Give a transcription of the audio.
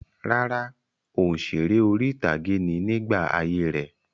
Rárá, òǹsèré orí-ìtàgé ni nígbà ayé rẹ̀.